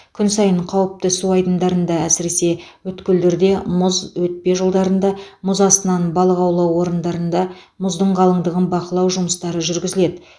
күн сайын қауіпті су айдындарда әсіресе өткелдерде мұз өтпе жолдарында мұз астынан балық аулау орындарында мұздың қалыңдығын бақылау жұмыстары жүргізіледі